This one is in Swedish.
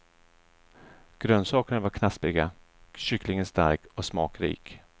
Grönsakerna var knaspriga, kycklingen stark och smakrik.